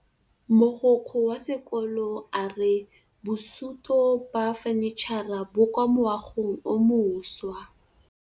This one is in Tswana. Mogokgo wa sekolo a re bosutô ba fanitšhara bo kwa moagong o mošwa.